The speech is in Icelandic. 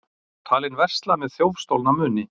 Talinn versla með þjófstolna muni